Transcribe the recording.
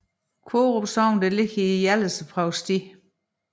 Korup Sogn ligger i Hjallese Provsti